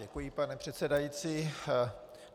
Děkuji, pane předsedající.